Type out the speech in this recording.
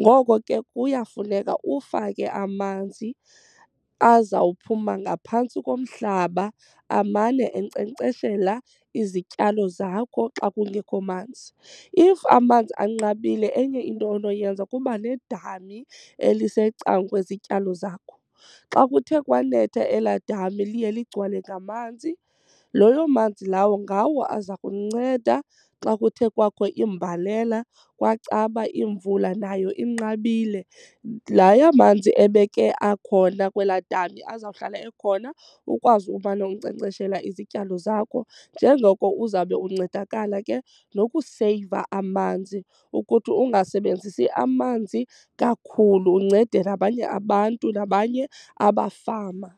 ngoko ke kuyafuneka ufake amanzi azawuphuma ngaphantsi komhlaba amane enkcenkceshela izityalo zakho xa kungekho manzi. If amanzi anqabile enye into onoyenza kuba nedami elisecangkwezityalo zakho. Xa kuthe kwanetha elaa dama liye ligcwele ngamanzi, loyo manzi lawo ngawo aza kunceda xa kuthe kwakho imbalela kwacaba imvula nayo inqabile. La yamanzi ebeke akhona kwelaa dami azawuhlala ekhona ukwazi umana unkcenkceshela izityalo zakho njengoko uzabe uncedakala ke nokuseyiva amanzi ukuthi ungasebenzisi amanzi kakhulu, uncede nabanye abantu nabanye abafama.